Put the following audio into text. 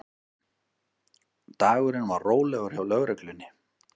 Dagurinn var rólegur hjá lögreglunni